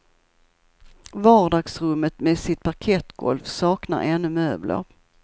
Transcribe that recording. Vardagsrummet med sitt parkettgolv saknar ännu möbler.